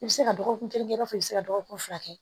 I bɛ se ka dɔgɔkun kelen kɛ i b'a fɔ i bɛ se ka dɔgɔkun fila kɛ